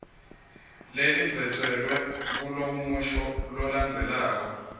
lelidvwetjelwe kulomusho lolandzelako